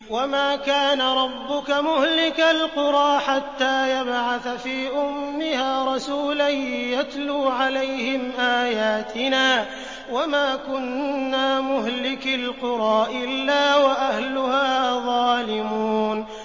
وَمَا كَانَ رَبُّكَ مُهْلِكَ الْقُرَىٰ حَتَّىٰ يَبْعَثَ فِي أُمِّهَا رَسُولًا يَتْلُو عَلَيْهِمْ آيَاتِنَا ۚ وَمَا كُنَّا مُهْلِكِي الْقُرَىٰ إِلَّا وَأَهْلُهَا ظَالِمُونَ